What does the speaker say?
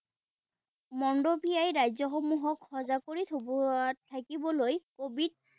ৰাজ্যসমূহক সজাগ কৰি থব থাকিবলৈ covid